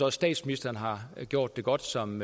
at statsministeren har gjort det godt som